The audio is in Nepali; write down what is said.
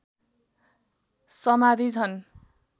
समाधि छन्